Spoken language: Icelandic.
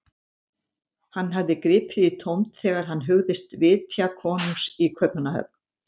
Hann hafði gripið í tómt þegar hann hugðist vitja konungs í Kaupmannahöfn.